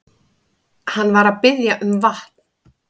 Hann var að biðja um vatn.